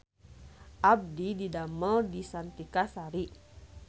Abdi didamel di Kartika Sari